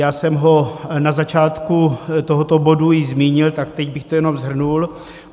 Já jsem ho na začátku tohoto bodu již zmínil, tak teď bych to jenom shrnul.